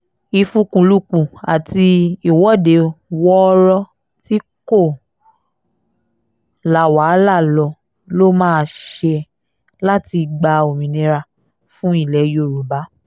ìfikùnlukùn àti ìwọ́de wọ́ọ́rọ́ tí kò la wàhálà lọ la máa ṣe láti gba òmìnira fún ilẹ̀ yorùbá